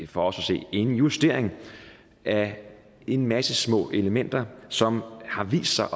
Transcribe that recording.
for os at se en justering af en masse små elementer som har vist sig